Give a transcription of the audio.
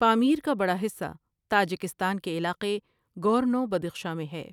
پامیر کا بڑا حصہ تاجکستان کے علاقے گورنو بد خشاں میں ہے ۔